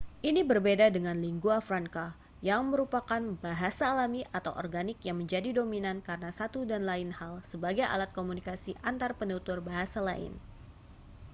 ini berbeda dengan lingua franca yang merupakan bahasa alami atau organik yang menjadi dominan karena satu dan lain hal sebagai alat komunikasi antarpenutur bahasa lain